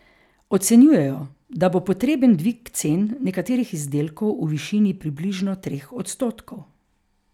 Ocenjujejo, da bo potreben dvig cen nekaterih izdelkov v višini približno treh odstotkov.